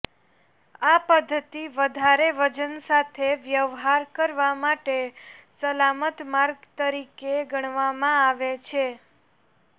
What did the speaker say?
આ પદ્ધતિ વધારે વજન સાથે વ્યવહાર કરવા માટે સલામત માર્ગ તરીકે ગણવામાં આવે છે